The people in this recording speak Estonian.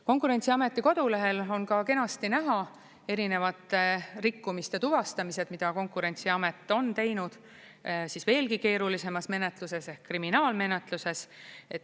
Konkurentsiameti kodulehel on ka kenasti näha erinevate rikkumiste tuvastamised, mida Konkurentsiamet on teinud siis veelgi keerulisemas menetluses ehk kriminaalmenetluses.